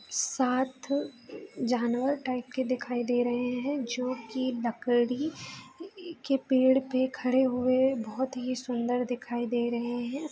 साथ जानवर टाइप के दिखाई दे रहे हैं जो की लकड़ी के पेड़ पे खड़े हुए बहुत ही सुंदर दिखाई दे रहे हैं |